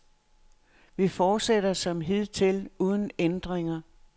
Vi fortsætter som hidtil uden ændringer.